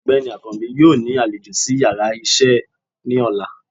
Ọgbeni akańbi yóò ni aléjọ̀ si íyarà iṣẹ ni òlá